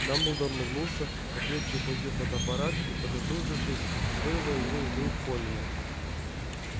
дамблдор нагнулся покрепче ухватил фотоаппарат и поднатужившись вырвал его из рук колина